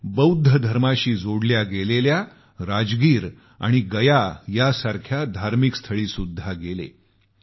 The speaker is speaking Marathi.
ते बौध्द धर्माशी जोडल्या गेलेल्या राजगिर आणि गयासारख्या धार्मिक स्थळीसुद्धा गेले